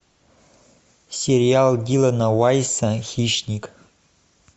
сериал дилана вайса хищник